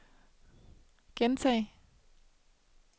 gentag